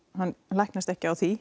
hann læknast ekki af því